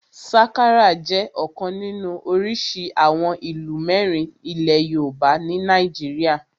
Sakara jẹ́ ọ̀kan nínú orísìí àwọn ìlù mẹ́rin ilẹ̀ yoòbá ní nàìjíríyà